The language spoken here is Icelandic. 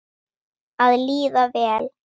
Að líða vel.